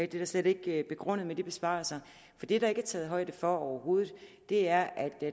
det er slet ikke begrundet i de besparelser for det der ikke er taget højde for overhovedet er at